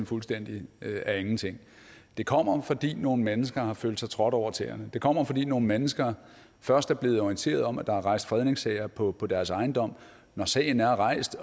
fuldstændig af ingenting det kommer fordi nogle mennesker har følt sig trådt over tæerne det kommer fordi nogle mennesker først er blevet orienteret om at der er rejst fredningssag på på deres ejendom når sagen er rejst